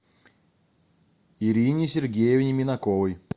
ирине сергеевне минаковой